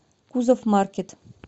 кузов маркет